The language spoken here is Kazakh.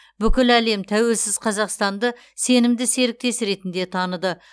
бүкіл әлем тәуелсіз қазақстанды сенімді серіктес ретінде таныды